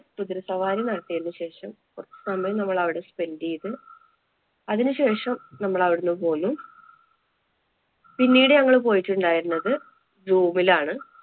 കുതിരസവാരി നടത്തിയതിനു ശേഷം കുറച്ചു സമയം നമ്മള് അവിടെ spend ചെയ്ത് അതിനുശേഷം നമ്മള് അവിടുന്ന് പോന്നു. പിന്നീട് ഞങ്ങള് പോയിട്ടുണ്ടായിരുന്നത് zoo വിലാണ്.